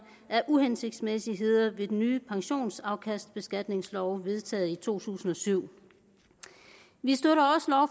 af uhensigtsmæssigheder ved den nye pensionsafkastbeskatningslov vedtaget i to tusind og syv vi støtter